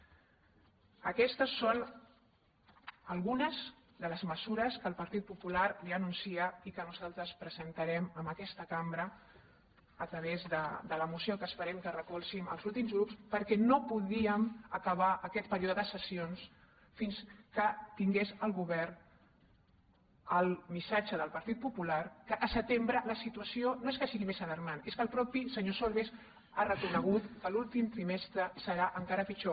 aquestes són algunes de les mesures que el partit po·pular li anuncia i que nosaltres presentarem en aquesta cambra a través de la moció que esperem que recolzin els altres grups perquè no podíem acabar aquest perío·de de sessions fins que tingués el govern el missatge del partit popular que al setembre la situació no és que sigui més alarmant és que el mateix senyor solbes ha reco·negut que l’últim trimestre serà encara pitjor